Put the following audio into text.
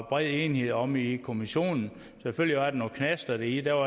bred enighed om i kommissionen selvfølgelig var der nogle knaster i det